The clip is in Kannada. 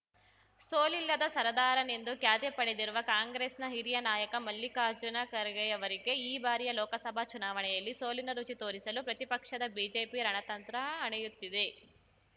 ಸೋಲಿಲ್ಲದ ಸರದಾರನೆಂದು ಖ್ಯಾತಿ ಪಡೆದಿರುವ ಕಾಂಗ್ರೆಸ್‌ನ ಹಿರಿಯ ನಾಯಕ ಮಲ್ಲಿಕಾರ್ಜುನ ಖರ್ಗೆಯವರಿಗೆ ಈ ಬಾರಿಯ ಲೋಕಸಭಾ ಚುನಾವಣೆಯಲ್ಲಿ ಸೋಲಿನ ರುಚಿ ತೋರಿಸಲು ಪ್ರತಿಪಕ್ಷದ ಬಿಜೆಪಿ ರಣತಂತ್ರ ಹಣೆಯುತ್ತಿದೆ